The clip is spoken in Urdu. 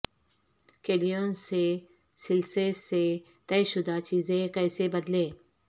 کیلیون سے سیلسیس سے طے شدہ چیزیں کیسے بدلیں